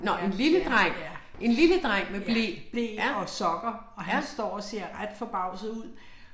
Nå en lille dreng. En lille dreng med ble. Ja. Ja